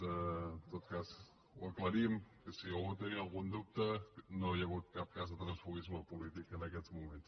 en tot cas ho aclarim que si algú tenia algun dubte no hi ha hagut cap cas de transfuguisme polític en aquest moment